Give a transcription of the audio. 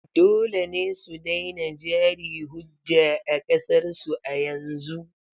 Dole ne su daina jari-hujja a ƙasar su a yanzu!